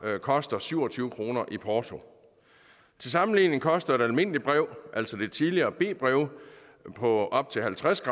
koster syv og tyve kroner i porto til sammenligning koster et almindeligt brev altså det tidligere b brev på op til halvtreds